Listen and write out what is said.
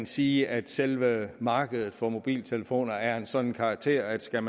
sige at selve markedet for mobiltelefoner er af en sådan karakter at skal